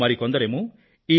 మరికొందరేమో ఈ రూ